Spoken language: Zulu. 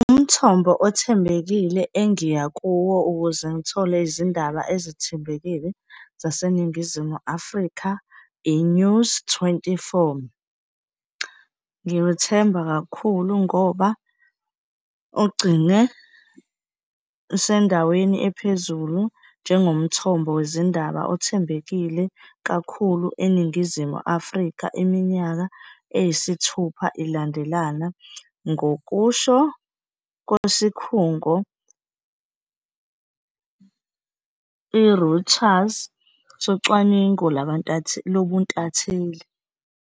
Umthombo othembekile engiya kuwo ukuze ngithole izindaba ezithembekile zaseNingizimu Afrika, i-News twenty-four. Ngiwethemba kakhulu ngoba ugcine usendaweni ephezulu njengomthombo wezindaba othembekile kakhulu eNingizimu Afrika, iminyaka eyisithupha ilandelana, ngokusho kwesikhungo, i-Reuters socwaningo lobuntatheli.